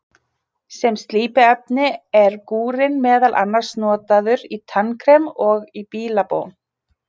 sem slípiefni er gúrinn meðal annars notaður í tannkrem og í bílabón